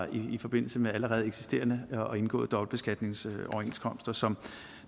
i forbindelse med allerede eksisterende og indgåede dobbeltbeskatningsoverenskomster som